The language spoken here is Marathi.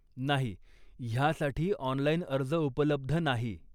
नाही, ह्यासाठी ऑनलाइन अर्ज उपलब्ध नाही.